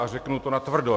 A řeknu to natvrdo.